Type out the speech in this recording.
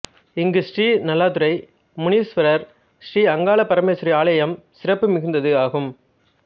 இங்கு ஸ்ரீ நல்லாதுரை முனீஸ்வரர் ஸ்ரீ அங்கால பரமேஸ்வரி ஆலயம் சிறப்பு மிகுந்தது ஆகும்